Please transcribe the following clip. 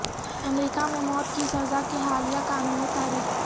امریکہ میں موت کی سزا کے حالیہ قانونی تاریخ